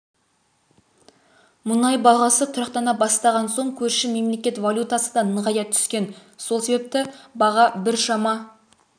мұнай бағасы тұрақтана бастаған соң көрші мемлекет валютасы да нығая түскен сол себепті баға біршама